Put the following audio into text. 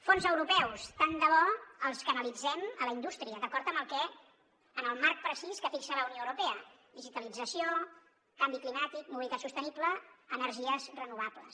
fons europeus tant de bo els canalitzem a la indústria d’acord amb el marc precís que fixa la unió europea digitalització canvi climàtic mobilitat sostenible energies renovables